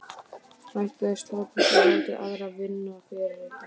Hættið að slæpast og láta aðra vinna fyrir ykkur.